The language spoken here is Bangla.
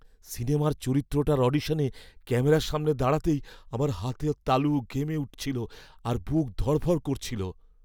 সিনেমার চরিত্রটার অডিশনে ক্যামেরার সামনে দাঁড়াতেই আমার হাতের তালু ঘেমে উঠেছিল আর বুক ধড়ফড় করছিল।